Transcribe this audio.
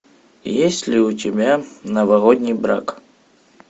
есть ли у тебя новогодний брак